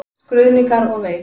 Skruðningar og vein.